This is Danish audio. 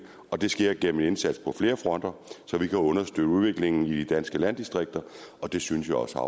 det sker gennem en indsats på flere fronter så vi kan understøtte udviklingen i de danske landdistrikter det synes jeg også